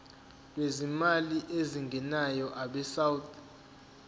lwezimali ezingenayo abesouth